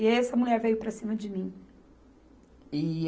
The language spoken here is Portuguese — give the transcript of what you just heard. E essa mulher veio para cima de mim. E